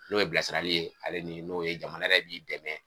N'o ye bilasirali ye ale ni n'o ye jamana yɛrɛ b'i dɛmɛ